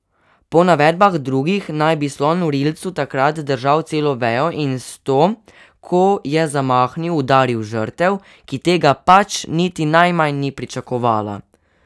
Po navedbah drugih naj bi slon v rilcu takrat držal celo vejo in s to, ko je zamahnil, udaril žrtev, ki tega pač niti najmanj ni pričakovala.